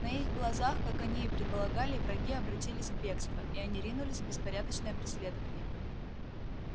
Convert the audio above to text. на их глазах как они и предполагали враги обратились в бегство и они ринулись в беспорядочное преследование